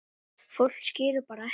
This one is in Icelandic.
Fólk skilur bara ekki